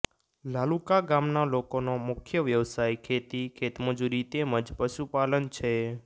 લાલુકા ગામના લોકોનો મુખ્ય વ્યવસાય ખેતી ખેતમજૂરી તેમ જ પશુપાલન છે